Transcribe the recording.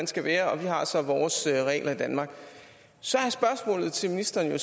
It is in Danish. skal være og vi har så vores regler i danmark og så er spørgsmålet til ministeren